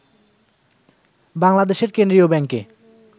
বাংলাদেশের কেন্দ্রীয় ব্যাংকে